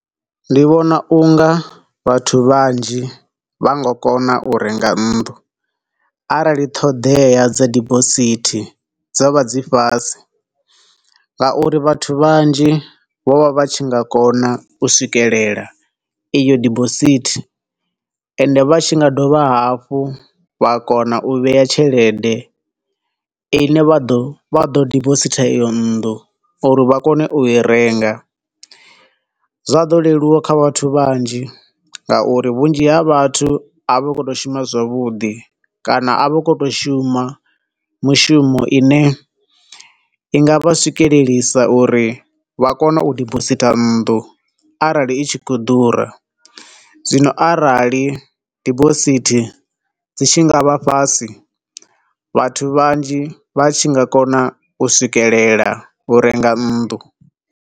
Ndi vhona unga vhathu vhanzhi vha nga kona u renga nnḓu, arali ṱhoḓea dza dibosithi dzo vha dzi fhasi, nga uri vhathu vhanzhi vho vha vha tshi nga kona u swikelela eyo debosithi ende vha tshi nga dovha hafhu vha kona u vheya tshelede ine vha ḓo, vha ḓo debositha iyo nnḓu uri vha kone u i renga, zwa ḓo leluwa kha vhathu vhanzhi, nga uri vhunzhi ha vhathu a vha khou to shuma zwavhuḓi, kana a vha khou u to shuma mishumo ine i nga vha swikelelisa uri vha kone u dibositha nnḓu arali i khou ḓura, zwino arali dibosithi dzi tshi nga vha fhasi, vhathu vhanzhi vha tshi nga kona u swikelela u renga nnḓu.